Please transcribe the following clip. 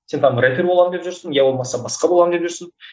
сен там рэпер боламын деп жүрсің иә болмаса басқа болам деп жүрсің